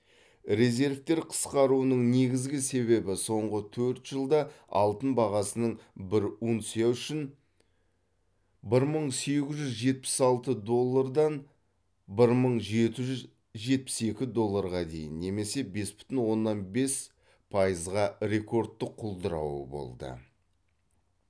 резервтер қысқаруының негізгі себебі соңғы төрт жылда алтын бағасының бір унция үшін бір мың сегіз жүз жетпіс алты доллардан бір мың жеті жүз жетпіс екі долларға дейін немесе бес бүтін оннан бес пайызға рекордтық құлдырауы болды